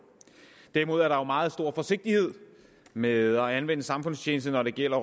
derimod er der meget stor forsigtighed med at anvende samfundstjeneste når det gælder